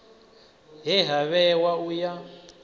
he ha vhewa u ya